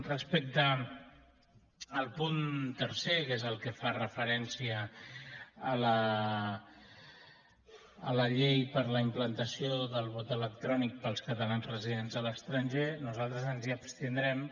respecte al punt tercer que és el que fa referència a la llei per a la implantació del vot electrònic per als catalans residents a l’estranger nosaltres ens hi abstindrem